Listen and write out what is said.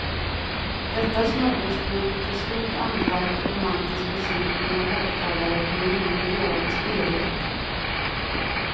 Detta smörgåsbord till stort anlagd romantisk musik genom högtalare blev ingen idealisk helhet.